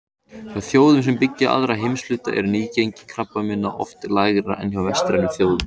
Hjá þjóðum sem byggja aðra heimshluta er nýgengi krabbameina oft lægra en hjá vestrænum þjóðum.